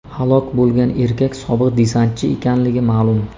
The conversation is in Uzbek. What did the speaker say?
Halok bo‘lgan erkak sobiq desantchi ekanligi ma’lum.